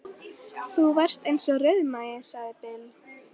Þú varst eins og rauðmagi, sagði Bill.